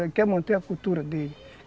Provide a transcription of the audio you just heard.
Ele quer manter a cultura dele.